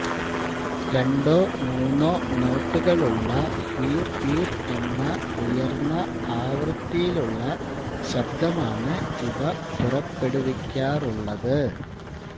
രണ്ടോ മൂന്നോ നോട്ടുകളുള്ള ഹ്വീർ ഹ്വീർ എന്ന ഉയർന്ന ആവൃത്തിയിലുള്ള ശബ്ദമാണ് ഇവ പുറപ്പെടുവിക്കാറുള്ളത്